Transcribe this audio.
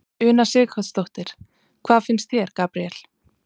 Una Sighvatsdóttir: Hvað finnst þér, Gabriel?